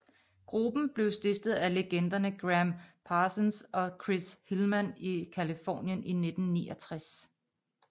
Gruppen blev stiftet af legenderne Gram Parsons og Chris Hillman i Californien i 1969